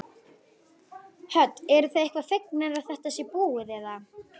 Hödd: Eruð þið eitthvað fegnar að þetta sé búið eða?